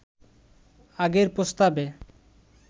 আগের প্রস্তাবে